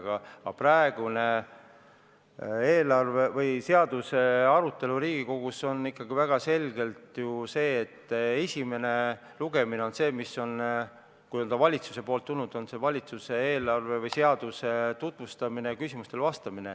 Aga praegune eelarveseaduse arutelu Riigikogus on ikkagi väga selgelt ju selline, et esimene lugemine on selline, nagu ta on, kui eelarve on valitsusest tulnud: see on valitsuse eelarve või seaduse tutvustamine ja küsimustele vastamine.